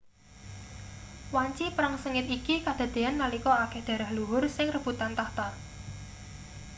wanci perang sengit iki kadadeyan nalika akeh darah luhur sing rebutan tahta